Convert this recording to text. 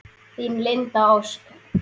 Þín, Linda Ósk.